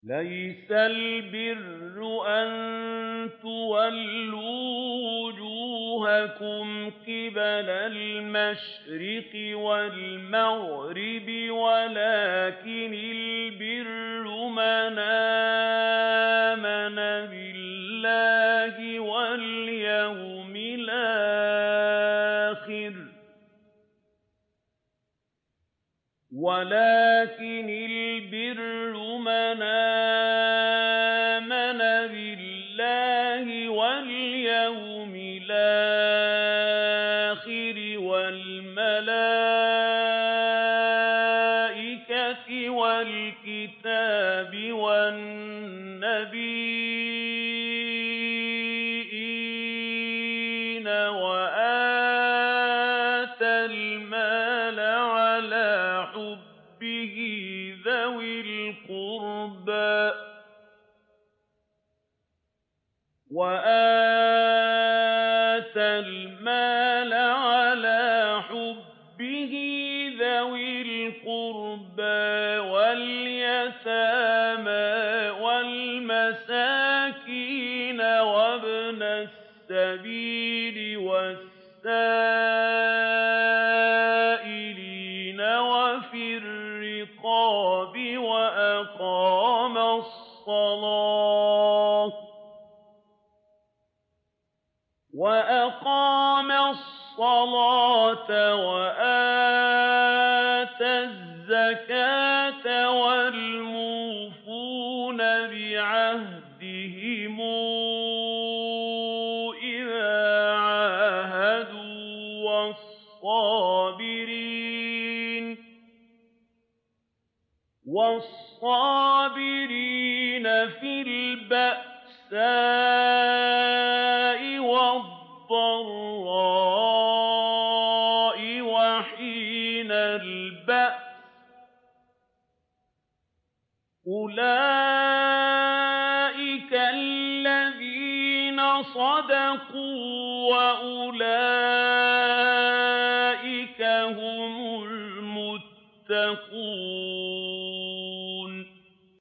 ۞ لَّيْسَ الْبِرَّ أَن تُوَلُّوا وُجُوهَكُمْ قِبَلَ الْمَشْرِقِ وَالْمَغْرِبِ وَلَٰكِنَّ الْبِرَّ مَنْ آمَنَ بِاللَّهِ وَالْيَوْمِ الْآخِرِ وَالْمَلَائِكَةِ وَالْكِتَابِ وَالنَّبِيِّينَ وَآتَى الْمَالَ عَلَىٰ حُبِّهِ ذَوِي الْقُرْبَىٰ وَالْيَتَامَىٰ وَالْمَسَاكِينَ وَابْنَ السَّبِيلِ وَالسَّائِلِينَ وَفِي الرِّقَابِ وَأَقَامَ الصَّلَاةَ وَآتَى الزَّكَاةَ وَالْمُوفُونَ بِعَهْدِهِمْ إِذَا عَاهَدُوا ۖ وَالصَّابِرِينَ فِي الْبَأْسَاءِ وَالضَّرَّاءِ وَحِينَ الْبَأْسِ ۗ أُولَٰئِكَ الَّذِينَ صَدَقُوا ۖ وَأُولَٰئِكَ هُمُ الْمُتَّقُونَ